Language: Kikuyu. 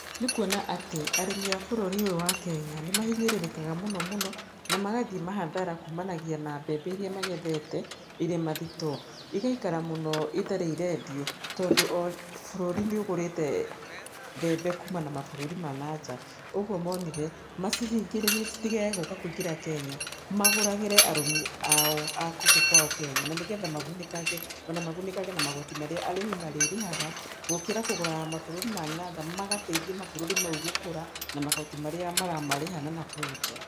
Nĩkuona atĩ arĩmi a bũrũri ũyũ wa Kenya nĩ mahinyĩrĩrĩkaga mũno mũno, na magathiĩ mahathara kumanagia na mbembe iria magethete irĩ mathitoo. Igaikara mũno itarĩ irendio, tondũ bũrũri nĩ ũgũrĩte mbembe kuma na mabũrũri ma nanja. Ũguo monire macihingĩrĩrie citige gũka kũingĩra Kenya magũragĩre arĩmi ao a gũkũ kwao Kenya na nĩ getha magunĩkage, ona magunĩkage na magoti maríĩ arĩmi marĩrĩhaga. Gũkĩra kũgũra mabũrũri ma nanja magateithie mabũrũri mau gũkũra, na magoti marĩa maramarĩha na nakũu nja.